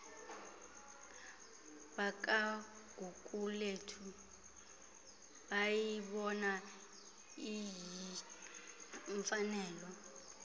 bakagugulethu bayibona iyimfanelo